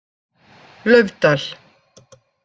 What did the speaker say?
Laufdal